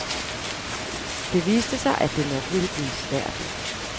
Det viste sig, at det nok ville blive svært.